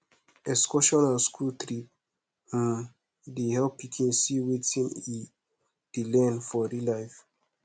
excursion and school trip um dey help pikin see wetin e dey learn for real life